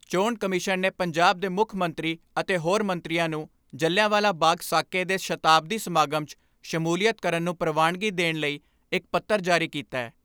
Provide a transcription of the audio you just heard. ਚੋਣ ਕਮਿਸ਼ਨ ਨੇ ਪੰਜਾਬ ਦੇ ਮੁੱਖ ਮੰਤਰੀ ਅਤੇ ਹੋਰ ਮੰਤਰੀਆਂ ਨੂੰ ਜਲ੍ਹਿਆਂਵਾਲਾ ਬਾਗ਼ ਸਾਕੇ ਦੇ ਸ਼ਤਾਬਦੀ ਸਮਾਗਮ 'ਚ ਸ਼ਮੂਲੀਅਤ ਕਰਨ ਨੂੰ ਪ੍ਰਵਾਨਗੀ ਦੇਣ ਲਈ ਇਕ ਪੱਤਰ ਜਾਰੀ ਕੀਤੈ।